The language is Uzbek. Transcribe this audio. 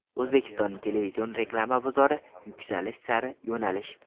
O‘zbekistonning televizion reklama bozori: Yuksalish sari yo‘nalish.